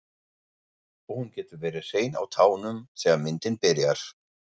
Og hún getur verið hrein á tánum þegar myndin byrjar.